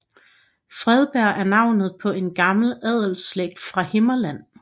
Fredberg er navnet på en gammel adelsslægt fra Himmerland